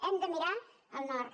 hem de mirar al nord